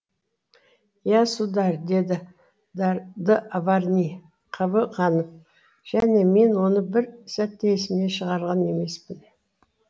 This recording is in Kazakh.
иә сударь деді д авриньи қыбы қанып және мен оны бір сәт те есімнен шығарған емеспін